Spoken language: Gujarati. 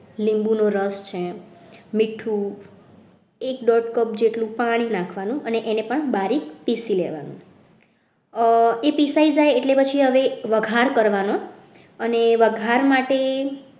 લીંબુનો રસ છે મીઠું એક દોઢ cup જેટલું પાણી નાખવાનું અને એને પણ બારીક પીસી લેવાનું એ પીસાઈ જાય એટલે પછી હવે વઘાર કરવાનો અને વઘાર માટે